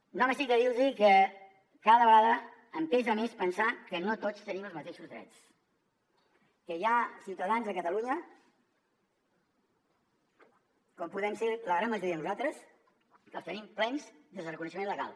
no m’estic de dir los que cada vegada em pesa més pensar que no tots tenim els mateixos drets que hi ha ciutadans a catalunya com podem ser la gran majoria de nosaltres que els tenim plens des del reconeixement legal